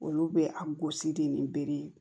Olu bɛ a gosi de ni bere ye